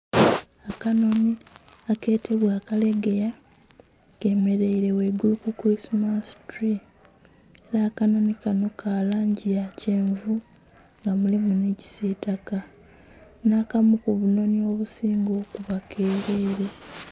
Akanonhi aketebwa akalegeya kemereire ghaigulu ku kulisimasi turwi era akanonhi kanho ka langi ya kyenvu nga mulimu nhi kisitaka nha kamu ku obunhonhi obubinga okuba merere.